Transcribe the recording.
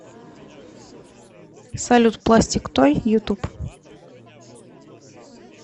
салют пластик той ютуб